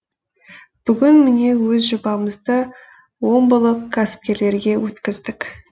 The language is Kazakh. бүгін міне өз жобамызды омбылық кәсіпкерлерге өткіздік